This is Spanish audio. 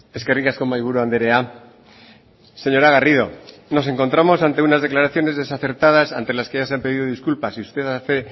eskerrik asko mahaiburu andrea señora garrido nos encontramos ante unas declaraciones desacertadas ante las que ya se han pedido disculpas y usted hace